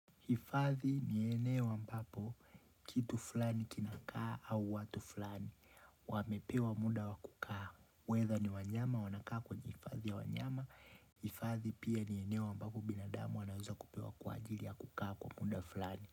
Hifadhi ni eneo ambapo, kitu fulani kinakaa au watu fulani, wamepewa muda wakukaa. Whether ni wanyama wanakaa kwenye hifadhi ya wanyama, hifadhi pia ni eneo ambapo binadamu anaweza kupewa kwa ajili ya kukaa kwa muda fulani.